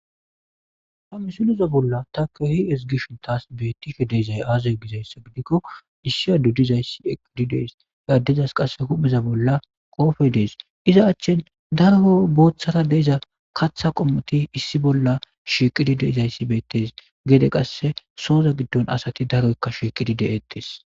ha misileza bolla takishin tas bettishe de7izay aazee gizayssa gidikko issi adde dizayssi eqqidi dees ha addezas qasse hupheza bolla qoofey dees iza achchin daro booththara de7iza katha qommoti issi bolla sheqidi deizayssi beettes geede qasse sooza giddon asati daroykka shieqidi de7eettes